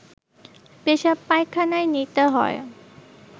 পেশাবপায়খানায় নিতে হয়